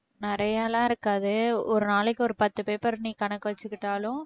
நிறையாலாம் இருக்காது ஒரு நாளைக்கு ஒரு பத்து paper நீ கணக்கு வெச்சுகிட்டாலும்